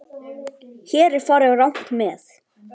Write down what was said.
Hér er farið rangt með.